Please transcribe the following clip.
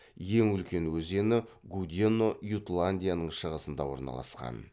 ең үлкен өзені гудено ютландияның шығысында орналасқан